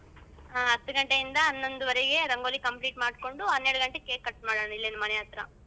ಹತ್ಗಂಟೆಯಿಂದ ಹನ್ನೊಂದೂವರೆಗೆ ರಂಗೋಲಿ complete ಮಾಡ್ಕೊಂಡು ಹನ್ನೆರಡಗಂಟೆಗೆ cake cut ಮಾಡೋಣ ಇಲ್ಲೇ ಮನೆಹತ್ರ.